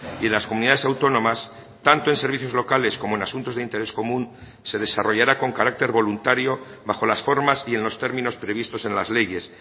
y las comunidades autónomas tanto en servicios locales como en asuntos de interés común se desarrollará con carácter voluntario bajo las formas y en los términos previstos en las leyes